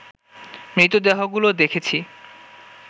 মৃতদেহগুলো দেখেছি